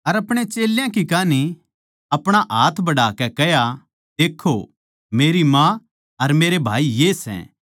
अर अपणे चेल्यां की कान्ही अपणा हाथ बढ़ाकै कह्या देक्खो मेरी माँ अर मेरे भाई ये सै